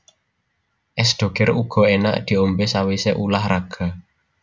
Es Doger uga enak diombe sawise ulah raga